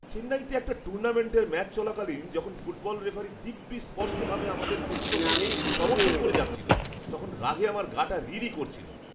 চেন্নাইতে একটা টুর্নামেন্টের ম্যাচ চলাকালীন যখন ফুটবল রেফারি দিব্যি স্পষ্টভাবে আমাদের প্রতিপক্ষকে সমর্থন করে যাচ্ছিল, তখন রাগে আমার গা'টা রি রি করছিল!